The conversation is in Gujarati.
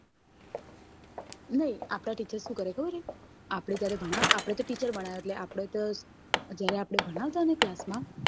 નઈ આપડા teacher શું કરે ખબર હે આપડે જયારે આપડે જયારે ભણાવવાતા હોય class માં